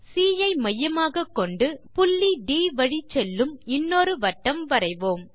C I மையமாகக்கொண்டு புள்ளி ட் வழிச் செல்லும் இன்னொரு வட்டம் வரைவோம்